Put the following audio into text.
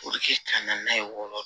O bɛ kɛ ka na n'a ye wɔɔrɔ